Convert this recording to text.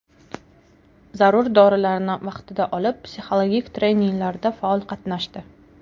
Zarur dorilarni vaqtida olib, psixologik treninglarda faol qatnashdi.